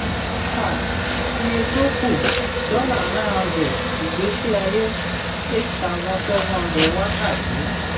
um iye tó kù: dollar nine hundred ìgbésí aye: eight thousand seven hundred wákàtí.